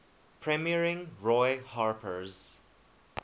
premiering roy harper's